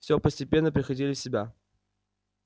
все постепенно приходили в себя